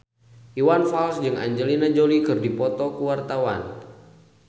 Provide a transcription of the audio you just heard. Iwan Fals jeung Angelina Jolie keur dipoto ku wartawan